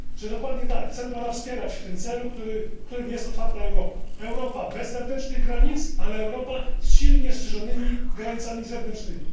Dokładnie tak, chcemy Pana wspierać w tym celu, którym jest otwarta Europa, Europa bez wewnętrznych granic, ale z silnie strzeżonymi granicami zewnętrznymi.